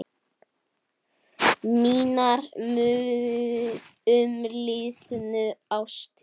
Mínar umliðnu ástir